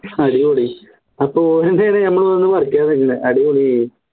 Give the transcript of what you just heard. അടിപൊളി അപ്പോ പറിക്കാൻ വരുന്നില്ല അടിപൊളിയായി